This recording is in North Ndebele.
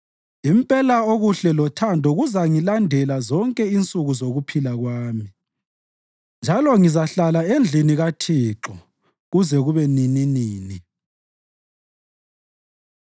Impela okuhle lothando kuzangilandela zonke insuku zokuphila kwami, njalo ngizahlala endlini kaThixo kuze kube nininini.